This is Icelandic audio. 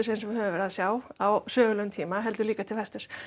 eins og við höfum verið að sjá á sögulegum tíma heldur líka til vesturs